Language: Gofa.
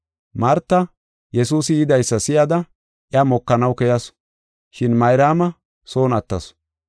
Marta Yesuusi yidaysa si7ada iya mokanaw keyasu, shin Mayraama son attasu.